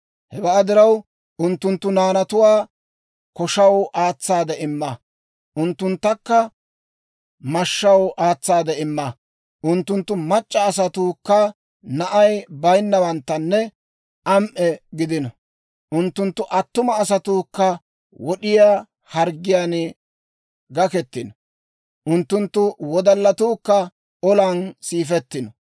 Hewaa diraw, unttunttu naanatuwaa koshaw aatsaade imma; unttunttakka mashshaw aatsaade imma. Unttunttu mac'c'a asatuukka na'ay bayinnawanttanne am"e gidino. Unttunttu attuma asatuukka wod'iyaa harggiyaan gakketino; unttunttu wodallatuukka olan siifettino.